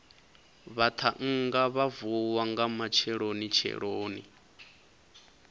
vhaṱhannga vha vuwa nga matshelonitsheloni